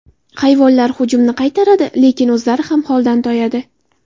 Hayvonlar hujumni qaytaradi, lekin o‘zlari ham holdan toyadi.